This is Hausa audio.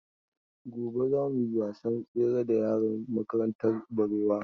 Gobe za mu yi wasan tsere da yaran makarantar Barewa.